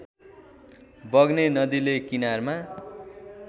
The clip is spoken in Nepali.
बग्ने नदीले किनारमा